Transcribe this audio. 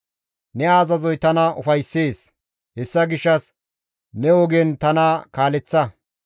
Ne azazoy tana ufayssees; hessa gishshas ne ogen tana kaaleththa.